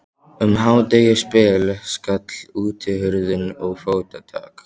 Um hádegisbil skall útihurðin og fótatak